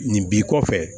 Nin b'i kɔfɛ